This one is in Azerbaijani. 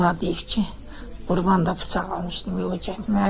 Onlar deyib ki, qurban da bıçaq almışdım yo gətirməyə.